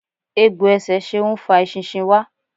Egbò ẹsẹ Ṣeun ń fa eṣinṣin wá.